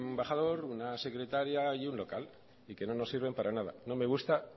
embajador una secretaria y un local y que no nos sirven para nada no me gusta